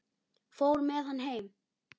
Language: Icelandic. Fór með hann heim.